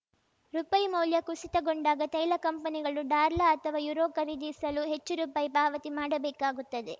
ರುಪಾಯಿ ಮೌಲ್ಯ ಕುಸಿತಗೊಂಡಾಗ ತೈಲ ಕಂಪನಿಗಳು ಡಾರ್ಲಾ ಅಥವಾ ಯುರೋ ಖರೀದಿಸಲು ಹೆಚ್ಚು ರುಪಾಯಿ ಪಾವತಿ ಮಾಡಬೇಕಾಗುತ್ತದೆ